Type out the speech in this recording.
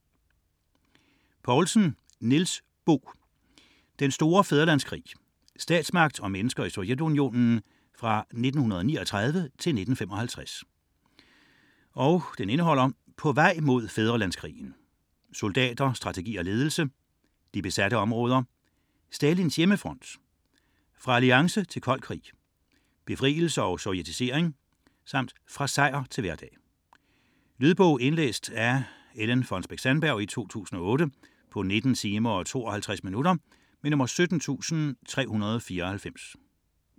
97.931 Poulsen, Niels Bo: Den store fædrelandskrig: statsmagt og mennesker i Sovjetunionen 1939-55 Indhold: På vej mod fædrelandskrigen; Soldater, strategi og ledelse; De besatte områder; Stalins hjemmefront; Fra alliance til kold krig; Befrielse og sovjetisering; Fra sejr til hverdag. Lydbog 17394 Indlæst af Ellen Fonnesbech-Sandberg, 2008. Spilletid: 19 timer, 52 minutter.